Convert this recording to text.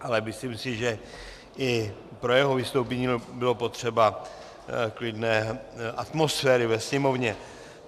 Ale myslím si, že i pro jeho vystoupení bylo potřeba klidné atmosféry ve Sněmovně.